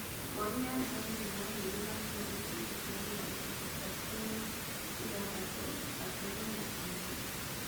Ngoru ya Njogu nĩ yagĩire na kura gĩcunjĩ kĩa mĩrongo ĩtatũna ithathatũgaturumo ĩmwe.